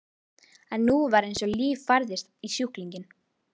En nú var eins og líf færðist í sjúklinginn.